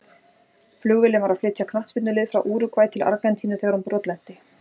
Flugvélin var að flytja knattspyrnulið frá Úrúgvæ til Argentínu þegar hún brotlenti.